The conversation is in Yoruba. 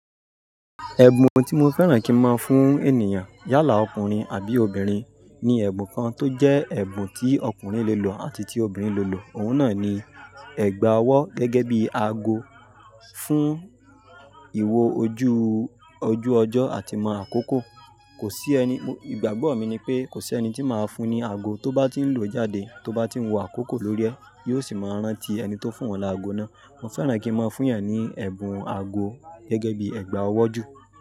Ẹ̀bùn tí mo fẹ́ràn kí n máa fún ènìyàn, yálà ọkùnrin àbí obìnrin ni ẹ̀bùn kan tó jẹ́ ẹ̀bùn tí ọkùnrin lè lò àti tí obìnrin lè lò, òun náà ni ẹ̀gbà ọwọ́ gẹ́gẹ́ bí ago fún ìwo ojú, ojú ọjọ́ àti mọ àkókò. Kò sí ẹni, ìgbàgbọ́ mi ni pé kò sí ẹni tí màá fún ní ago tó bá ti ń lò ó jáde, tó bá ti ń wọ àkókò lórí ẹ́, yóò sì máa rántí ẹni tó fún oun láago náà. Mo fẹ́ràn kí n máa fún èeyàn ní ẹ̀bùn ago gẹ́gẹ́ bí ẹ̀gbà ọwọ́ ju.